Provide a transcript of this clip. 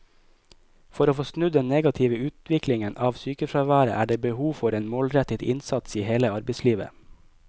For å få snudd den negative utviklingen av sykefraværet er det behov for en målrettet innsats i hele arbeidslivet.